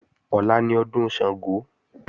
Ọ̀la ni ọdún Ṣàngó